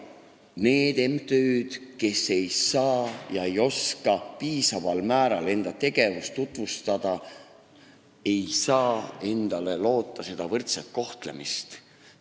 Need MTÜ-d, kes ei saa ega oska piisaval määral enda tegevust tutvustada, ei saa loota võrdset kohtlemist.